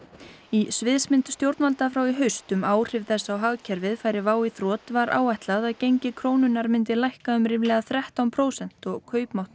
í sviðsmynd stjórnvalda frá í haust um áhrif þess á hagkerfið færi WOW í þrot var áætlað að gengi krónunnar myndi lækka um ríflega þrettán prósent og kaupmáttur